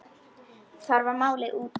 Þar með var málið útrætt.